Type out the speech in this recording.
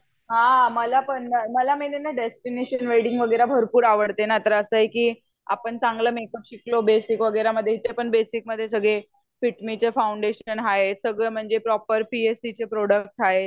हा मला पण ना मला मेन ये ना डेस्टिनेशन वेडिंग भरपूर आवडते. तर असं आहे की आपण चांगला मेकअप शिकलो बेसिक वगेरे इथे पण बेसिक मध्ये सगळे फिटमी चे फाउनडेशन आहे सगळा म्हणजे पी एस सी चे प्रोड़क्ट आहे.